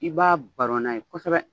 I b'a baro n'a ye kosɛbɛ.